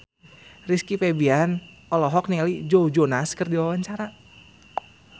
Rizky Febian olohok ningali Joe Jonas keur diwawancara